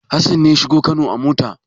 Hassan ne ya shiga Kano a mota?